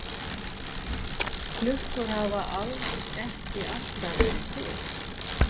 Klukkur hafa alls ekki alltaf verið til.